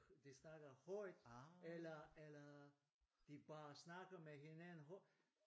De snakker højt eller eller de bare snakker med hinanden højt